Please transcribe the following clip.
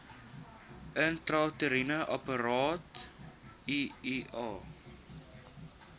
intrauteriene apparaat iua